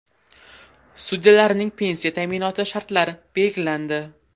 Sudyalarning pensiya ta’minoti shartlari belgilandi.